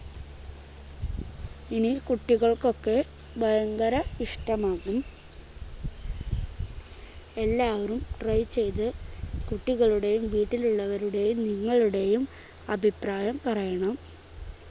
ഇനി കുട്ടികൾക്കൊക്കെ ഭയങ്കര ഇഷ്ടമാണ് എല്ലാവരും try ചെയ്ത് കുട്ടികളുടെയും വീട്ടിലുള്ളവരുടെയും നിങ്ങളുടെയും അഭിപ്രായം പറയണം